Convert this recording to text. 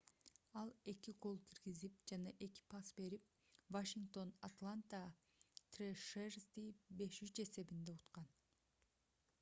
ал 2 гол киргизип жана 2 пас берип вашингтон атланта трэшерзди 5:3 эсебинде уткан